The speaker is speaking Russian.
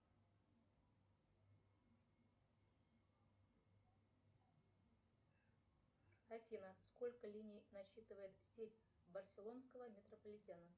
афина сколько линий насчитывает сеть барселонского метрополитена